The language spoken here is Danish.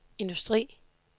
industri